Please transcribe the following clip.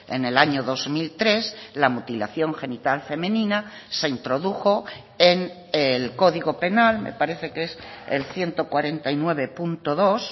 en el año dos mil tres la mutilación genital femenina se introdujo en el código penal me parece que es el ciento cuarenta y nueve punto dos